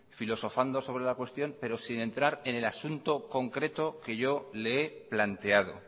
filosofando sobre la cuestión pero sin entrar en el asunto concreto que yo le he planteado